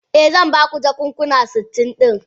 Eh, zan baki jakuna sitin din.